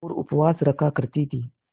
और उपवास रखा करती थीं